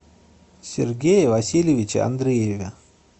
сергее васильевиче андрееве